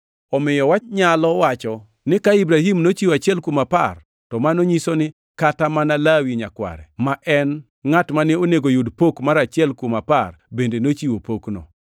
Omiyo wanyalo wacho ni ka Ibrahim nochiwo achiel kuom apar to mano nyiso ni kata mana Lawi nyakware ma en ngʼat mane onego yud pok mar achiel kuom apar bende nochiwo pokno,